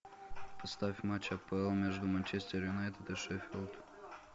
поставь матч апл между манчестер юнайтед и шеффилд